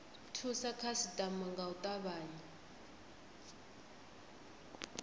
thusa khasitama nga u tavhanya